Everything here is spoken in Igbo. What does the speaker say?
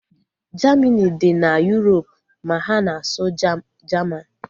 Jamini dị na Yurop ma ha na-asụ Jaman